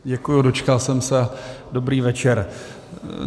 Děkuji, dočkal jsem se, dobrý večer.